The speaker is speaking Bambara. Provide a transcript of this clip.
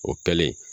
O kɛlen